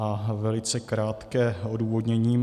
A velice krátké odůvodnění.